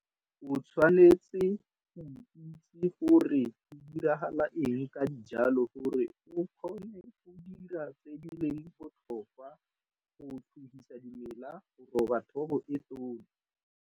O tshwanetse go itse gore go diragala eng ka dijalo gore o kgone go dira tse di leng botlhokwa go tlhogisa dimela go roba thobo e tona.